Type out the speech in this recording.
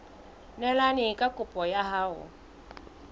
neelane ka kopo ya hao